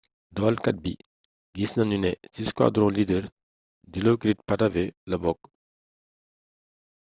dawalkat bi gis nanu ne ci squadron leader dilokrit pattavee la bokk